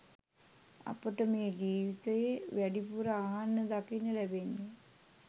අපට මේ ජීවිතයේ වැඩිපුර අහන්න දකින්න ලැබෙන්නේ